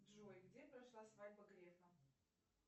джой где прошла свадьба грефа